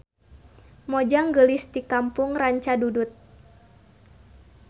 Mojang geulis ti kampung Rancadudut.